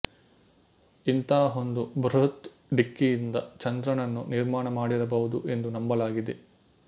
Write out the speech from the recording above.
ಇಂತಹ ಒಂದು ಬೃಹತ್ ಡಿಕ್ಕಿಯಿಂದ ಚಂದ್ರನನ್ನು ನಿರ್ಮಾಣ ಮಾಡಿರಬಹುದು ಎಂದು ನಂಬಲಾಗಿದೆ